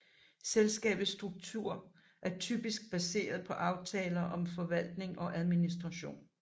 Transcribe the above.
Selskabets struktur er typisk baseret på aftaler om forvaltning og administration